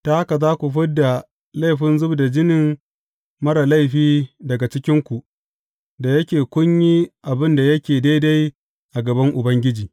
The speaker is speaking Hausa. Ta haka za ku fid da laifin zub da jinin marar laifi daga cikinku, da yake kun yi abin da yake daidai a gaban Ubangiji.